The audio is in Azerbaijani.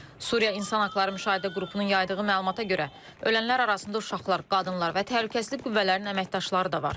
Suriya İnsan Haqları Müşahidə Qrupunun yaydığı məlumata görə, ölənlər arasında uşaqlar, qadınlar və təhlükəsizlik qüvvələrinin əməkdaşları da var.